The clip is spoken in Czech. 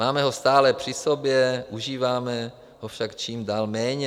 Máme ho stále při sobě, užíváme ho však čím dál méně.